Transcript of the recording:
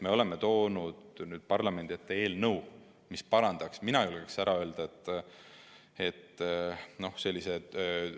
Me oleme toonud parlamendi ette eelnõu, mis parandaks, mina julgeks öelda, tööõnnetuse.